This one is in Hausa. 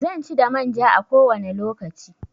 Zanci da manja a kowane lokaci.